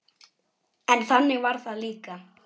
En þannig var það líka.